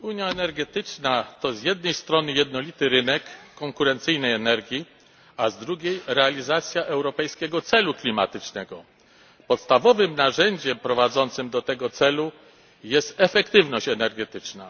Panie Przewodniczący! Unia energetyczna to z jednej strony jednolity rynek konkurencyjnej energii, a z drugiej realizacja europejskiego celu klimatycznego. Podstawowym narzędziem prowadzącym do tego celu jest efektywność energetyczna.